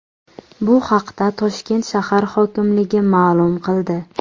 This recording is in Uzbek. Bu haqda Toshkent shahar hokimligi ma’lum qildi .